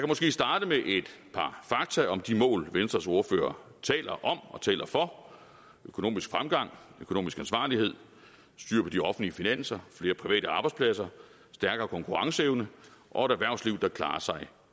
måske starte med et par fakta om de mål venstres ordfører taler om og taler for økonomisk fremgang økonomisk ansvarlighed styr på de offentlige finanser flere private arbejdspladser stærkere konkurrenceevne og et erhvervsliv der klarer sig